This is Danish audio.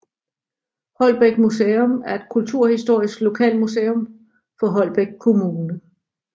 Holbæk Museum er et kulturhistorisk lokalmuseum for Holbæk Kommune